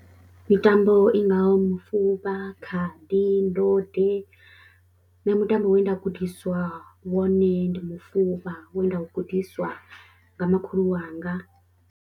Mitambo i ngaho mufuvha, khadi, ndode, nṋe mutambo we nda gudiswa wone ndi mufuvha we nda u gudiswa nga makhulu wanga.